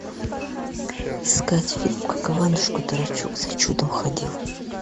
искать фильм как иванушка дурачок за чудом ходил